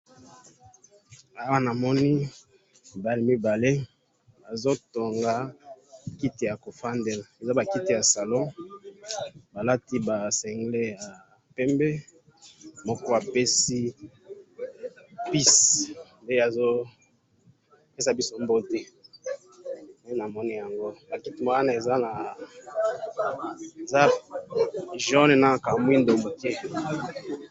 awa namoni bana mibale bazotonga kiti ya kofandela, eza bakiti ya salon, balati ba cingles ya pembe, moko apesi peace nde azo pesa biso mbote, nde namoni yango, makiti wana eza jaune, na ka muindo muke